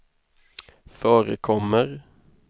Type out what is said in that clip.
förekommer